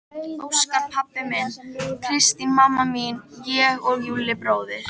Óskar pabbi minn, Kristín mamma mín, ég og Júlli bróðir.